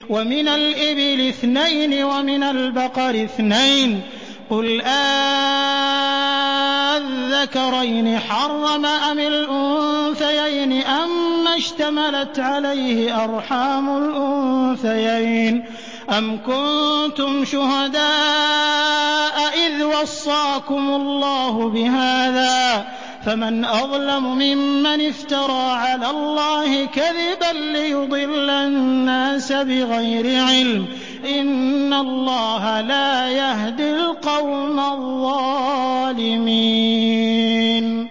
وَمِنَ الْإِبِلِ اثْنَيْنِ وَمِنَ الْبَقَرِ اثْنَيْنِ ۗ قُلْ آلذَّكَرَيْنِ حَرَّمَ أَمِ الْأُنثَيَيْنِ أَمَّا اشْتَمَلَتْ عَلَيْهِ أَرْحَامُ الْأُنثَيَيْنِ ۖ أَمْ كُنتُمْ شُهَدَاءَ إِذْ وَصَّاكُمُ اللَّهُ بِهَٰذَا ۚ فَمَنْ أَظْلَمُ مِمَّنِ افْتَرَىٰ عَلَى اللَّهِ كَذِبًا لِّيُضِلَّ النَّاسَ بِغَيْرِ عِلْمٍ ۗ إِنَّ اللَّهَ لَا يَهْدِي الْقَوْمَ الظَّالِمِينَ